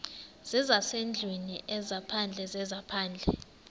zezasendlwini ezaphandle zezaphandle